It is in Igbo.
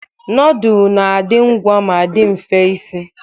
Nudul na-adị ngwa ma dị mfe isi.